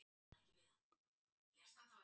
Ár á svæðinu vaxa enn.